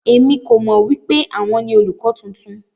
Èmi kò mọ wipe àwọn ni olùkọ tuntun.